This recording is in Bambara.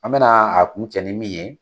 An mɛna a kuncɛ ni min ye